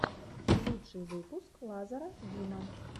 лучший выпуск лазара бима